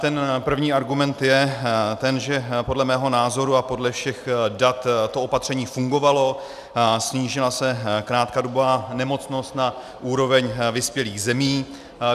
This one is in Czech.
Ten první argument je ten, že podle mého názoru a podle všech dat to opatření fungovalo, snížila se krátkodobá nemocnost na úroveň vyspělých zemí.